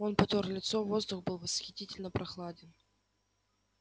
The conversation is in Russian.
он потёр лицо воздух был восхитительно прохладен